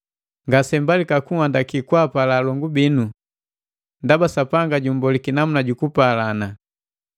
Ngasempalika kunhandaki kwaapala alongu binu. Ndaba Sapanga jummboliki namuna ju kupalana.